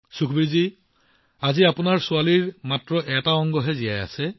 সুখবীৰজী এনে নহয় যে আজি আপোনাৰ ছোৱালীৰ কেৱল এটা অংশহে জীয়াই আছে